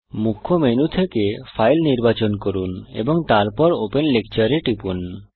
মুখ্য মেনু থেকে ফাইল নির্বাচন করুন এবং তারপর ওপেন লেকচার এ টিপুন